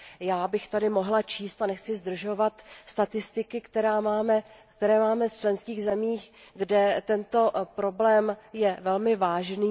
Já bych tady mohla číst, a nechci zdržovat, statistiky, které máme z členských zemích, kde tento problém je velmi vážný.